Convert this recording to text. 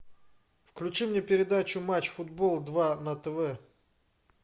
включи мне передачу матч футбол два на тв